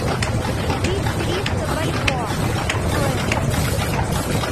купить триста бальбоа стоимость